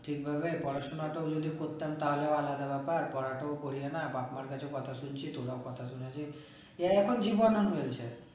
ঠিক ভাবে পড়াশোনাটাও যদি করতাম তাহলে আলাদা ব্যাপার পড়াটাও করলে না বাপ্ মার্ কাছেও কথা শুনছি তোরাও কথা শোনাচ্ছিস